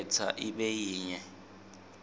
khetsa ibe yinye